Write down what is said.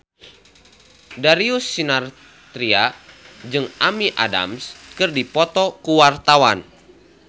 Darius Sinathrya jeung Amy Adams keur dipoto ku wartawan